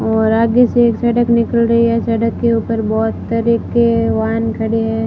और आगे से एक सड़क निकल रही है सड़क के ऊपर बहोत तरह के वाहन खड़े है।